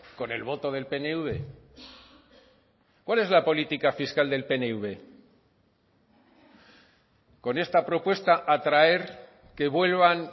con el voto del pnv cuál es la política fiscal del pnv con esta propuesta atraer que vuelvan